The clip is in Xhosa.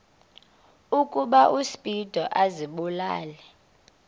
ukuba uspido azibulale